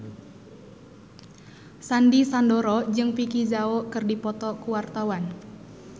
Sandy Sandoro jeung Vicki Zao keur dipoto ku wartawan